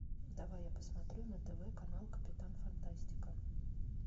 давай я посмотрю на тв канал капитан фантастика